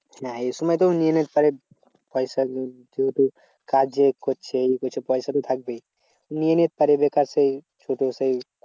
হ্যাঁ এই সময় তো নিয়ে নিতে পারে পয়সা তো যেহেতু কাজ যে করছে ইয়ে করছে পয়সা তো থাকবেই। নিয়ে নিতে পারে বেকার সেই শুধু সেই